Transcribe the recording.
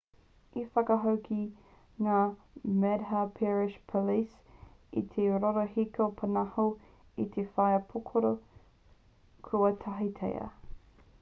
i whakahoki ngā madhya pradesh police i te rorohiko pōnaho me te waea pūkoro kua tāhaetia